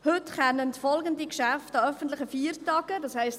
Heute können folgende Geschäfte an öffentlichen Feiertagen – das heisst: